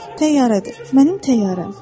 Şey deyil, təyyarədir, mənim təyyarəm.